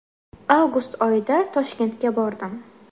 Avgust oyida Toshkentga bordim.